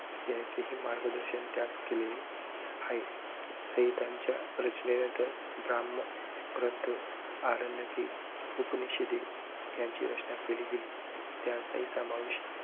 यांचेही मार्गदर्शन त्यात केलेले आहे. संहितांच्या रचनेनंतर ब्राह्मण ग्रंथ, आरण्यके, उपनिषदे यांची रचना केली गेली, त्यांचाही समावेश